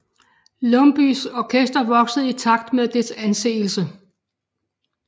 Lumbyes orkester voksede i takt med dets anseelse